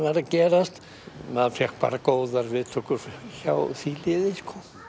að gerast maður fékk góðar viðtökur hjá því liði